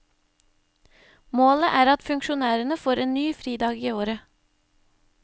Målet er at funskjonærene får en ny fridag i året.